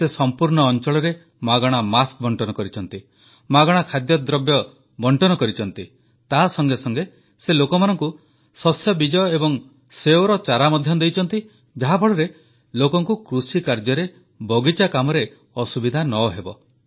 ସେ ସମ୍ପୂର୍ଣ୍ଣ ଅଂଚଳରେ ମାଗଣା ମାସ୍କ ବଂଟନ କରିଛନ୍ତି ମାଗଣା ଖାଦ୍ୟସାମଗ୍ରୀ ବଂଟନ କରିଛନ୍ତି ତାସଙ୍ଗେ ସଙ୍ଗେ ସେ ଲୋକମାନଙ୍କୁ ଶସ୍ୟବୀଜ ଏବଂ ସେଓର ଚାରା ମଧ୍ୟ ଦେଇଛନ୍ତି ଯାହାଫଳରେ ଲୋକଙ୍କୁ କୃଷିକାର୍ଯ୍ୟରେ ବଗିଚା କାମରେ ଅସୁବିଧା ନ ହେବ